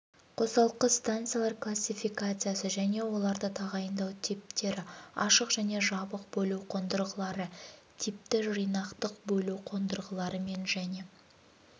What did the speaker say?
қосалқы станциялар классификациясы және оларды тағайындау типтері ашық және жабық бөлу қондырғылары типті жинақтық бөлу қондырғыларымен және